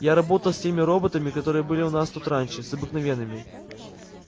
я работал с теми роботами которые были у нас тут раньше с обыкновенными